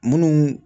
Munnu